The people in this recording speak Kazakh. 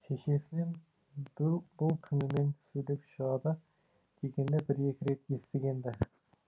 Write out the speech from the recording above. шешесінен бүл бұл түнімен сөйлеп шығады дегенді бір екі рет естіген ді